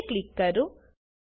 okay click કરો